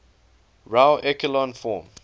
row echelon form